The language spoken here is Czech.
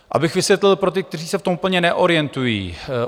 Abych vysvětlil pro ty, kteří se v tom úplně neorientují.